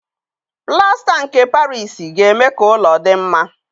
Plasta nke Parisi ga-eme ka ụlọ dị mma